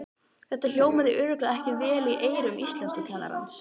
Þetta hljómaði örugglega ekki vel í eyrum íslenskukennarans!